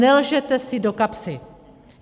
Nelžete si do kapsy.